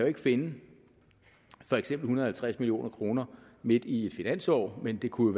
ikke finde for eksempel en hundrede og halvtreds million kroner midt i et finansår men det kunne